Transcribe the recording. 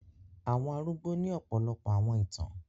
Àwọn àrugbò ni ọ̀pọlọpọ̀ àwọn ìtan